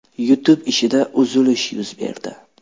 YouTube ishida uzilish yuz berdi.